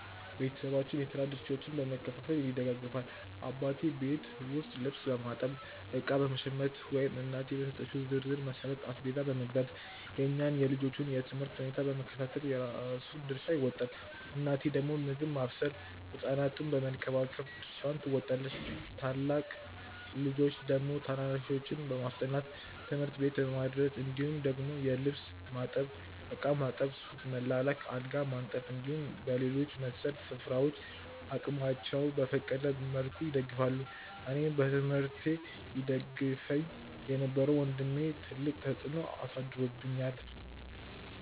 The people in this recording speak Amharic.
ቤተሰባችን የስራ ድርሻዎችን በመከፋፈል ይደጋገፋል። አባቴ ቤት ውስጥ ልብስ በማጠብ፣ እቃ በመሸመት ወይም እናቴ በሰጠችው ዝርዝር መሠረት አስቤዛ መግዛት፣ የእኛን የልጆቹን የ ትምህርት ሁኔታ በመከታተል የራሱን ድርሻ ይወጣል። እናቴ ደግሞ ምግብ ማብሰል ህ ሕፃናቱን በመንከባከብ ድርሻዋን ትወጣለች። ታላቅ ልጆች ደግሞ ታናናሾችን በማስጠናት፣ ትምህርት ቤት በማድረስ እንዲሁም ደግሞ ልብስ ማጠብ፣ ዕቃ ማጠብ፣ ሱቅ መላላክ፣ አልጋ በማንጠፍ እንዲሁም በሌሎች መሰል ስራዎች አቅማቸው በፈቀደ መልኩ ይደግፋሉ። አኔን በትምህርቴ ይደግፈኝ የነበረው ወንድሜ ትልቅ ተፅዕኖ አሳድሮብኛል።